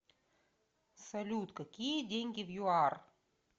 салют какие деньги в юар